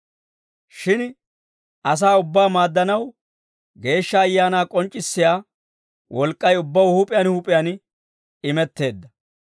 Shin asaa ubbaa maaddanaw, Geeshsha Ayaanaa k'onc'c'issiyaa wolk'k'ay ubbaw huup'iyaan huup'iyaan imetteedda.